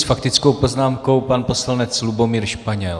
S faktickou poznámkou pan poslanec Lubomír Španěl.